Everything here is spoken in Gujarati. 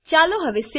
ચાલો હવે સવે